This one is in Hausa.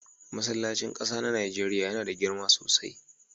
Masllacin ƙasa na Nijeriya yana da girma sosai.